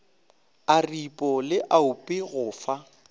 aripo le oapi go fa